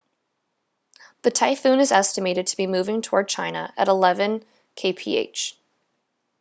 the typhoon is estimated to be moving toward china at eleven kph